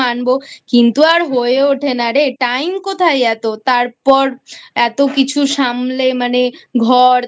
কিন্তু আর হয়ে ওঠে না Time কোথায় এতো তারপরে এতো কিছু সামলে মানে ঘর